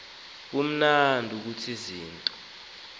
baman ukuthi izinto